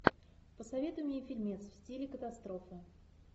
посоветуй мне фильмец в стиле катастрофа